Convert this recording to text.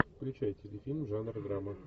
включай телефильм жанр драма